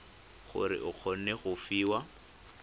gore o kgone go fiwa